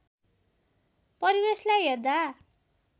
परिवेशलाई हेर्दा